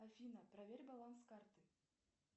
афина проверь баланс карты